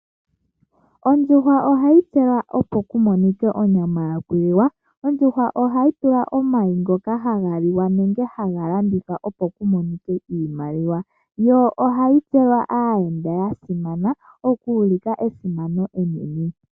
Ondjuhwa ohayi pewa opo kumonike onyama yokuliwa. Ondjuhwa ohayi pewa omayi ngoka haga liwa nenge haga landithawa opo kumonike iimaliwa yo ohayi pewa aayenda yasimana okuulika esimano enene.